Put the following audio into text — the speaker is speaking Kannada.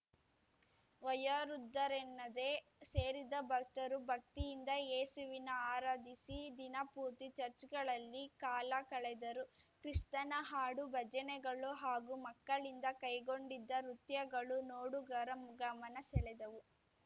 ವಯೋವೃದ್ಧರೆನ್ನದೇ ಸೇರಿದ್ದ ಭಕ್ತರು ಭಕ್ತಿಯಿಂದ ಏಸುವಿನ ಆರಾಧಿಸಿ ದಿನ ಪೂರ್ತಿ ಚರ್ಚ್ ಗಳಲ್ಲಿ ಕಾಲ ಕಳೆದರು ಕ್ರಿಸ್ತನ ಹಾಡು ಭಜನೆಗಳು ಹಾಗೂ ಮಕ್ಕಳಿಂದ ಕೈಗೊಂಡಿದ್ದ ನೃತ್ಯಗಳು ನೋಡುಗರ ಗಮನ ಸೆಳೆದವು